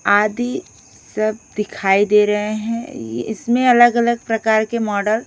आदि सब दिखाई दे रहे हैं इसमें अलग-अलग प्रकार के मॉडल --